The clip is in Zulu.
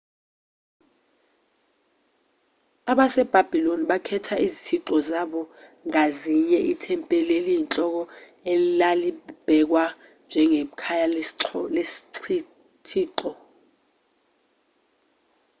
abasebhabhiloni bakhela izithixo zabo ngazinye ithempeli eliyinhloko elalibhekwa njengekhaya lesithixo